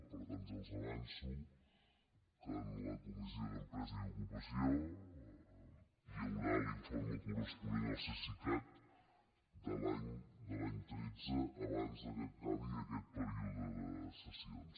per tant ja els avanço que en la comissió d’empresa i ocupació hi haurà l’informe corresponent al cesicat de l’any tretze abans que acabi aquest període de sessions